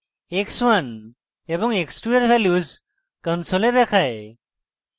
x1 এবং x2 এর values console দেখায়